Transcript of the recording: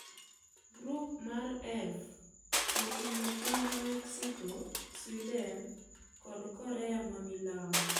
Grup mar F oting'o piny Mexico, Sweden, kod Korea ma milambo.